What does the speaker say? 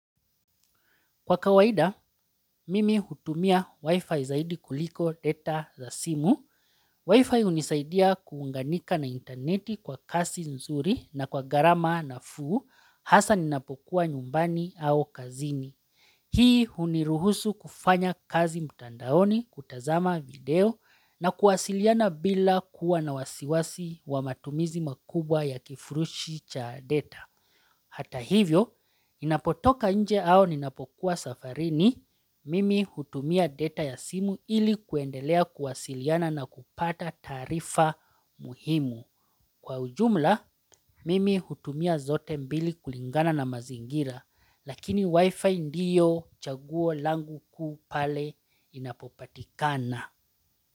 Kwa kawaida, mimi hutumia wifi zaidi kuliko data za simu, wifi hunisaidia kuunganika na interneti kwa kasi nzuri na kwa garama nafuu hasa ninapokuwa nyumbani au kazini. Hii huniruhusu kufanya kazi mutandaoni kutazama video na kuwasiliana bila kuwa na wasiwasi wa matumizi makubwa ya kifurushi cha data. Hata hivyo, inapotoka nje au ninapokuwa safarini, mimi hutumia data ya simu ili kuendelea kuwasiliana na kupata taarifa muhimu. Kwa ujumla, mimi hutumia zote mbili kulingana na mazingira, lakini wifi ndiyo chaguo langu kuu pale inapopatikana.